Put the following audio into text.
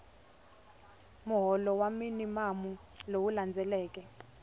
muholo wa minimamu lowu hundzeke